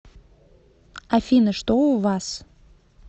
афина что у вас